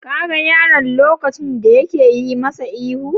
Ka ga yaron lokacin da yake yi masa ihu?